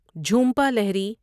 Jhumpa Lahiri